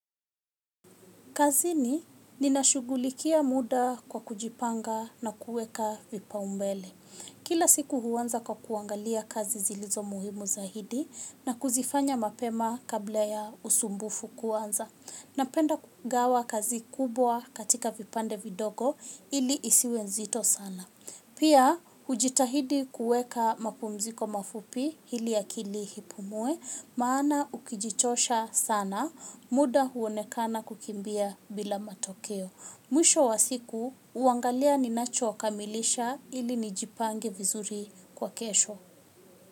Kazini ninashughulikia muda kwa kujipanga na kuweka vipaumbele. Kila siku huanza kwa kuangalia kazi zilizo muhimu zaidi na kuzifanya mapema kabla ya usumbufu kuanza. Napenda kugawa kazi kubwa katika vipande vidogo ili isiwe nzito sana. Pia, hujitahidi kuweka mapumziko mafupi ili akili ipumue, maana ukijichosha sana, muda huonekana kukimbia bila matokeo. Mwisho wa siku huangalia ninachokamilisha ili nijipange vizuri kwa kesho.